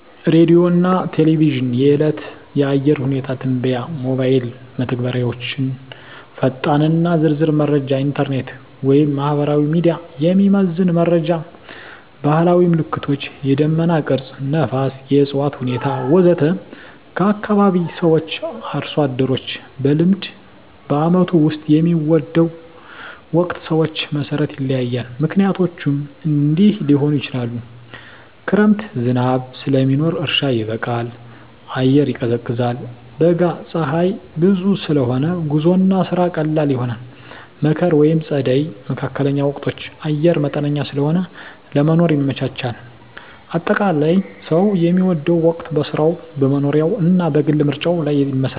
ሬዲዮና ቴሌቪዥን – የዕለት የአየር ሁኔታ ትንበያ ሞባይል መተግበሪያዎች ፈጣንና ዝርዝር መረጃ ኢንተርኔት/ማህበራዊ ሚዲያ – የሚዘመን መረጃ ባህላዊ ምልክቶች – የደመና ቅርጽ፣ ነፋስ፣ የእፅዋት ሁኔታ ወዘተ ከአካባቢ ሰዎች/አርሶ አደሮች – በልምድ በዓመቱ ውስጥ የሚወደው ወቅት ሰዎች መሠረት ይለያያል፣ ምክንያቶቹም እንዲህ ሊሆኑ ይችላሉ፦ ክረምት – ዝናብ ስለሚኖር እርሻ ይበቃል፣ አየር ይቀዝቃዛል። በጋ – ፀሐይ ብዙ ስለሆነ ጉዞና ስራ ቀላል ይሆናል። መከር/ጸደይ (መካከለኛ ወቅቶች) – አየር መጠነኛ ስለሆነ ለመኖር ይመቻቻል። አጠቃላይ፣ ሰው የሚወደው ወቅት በሥራው፣ በመኖሪያው እና በግል ምርጫው ላይ ይመሰረታል።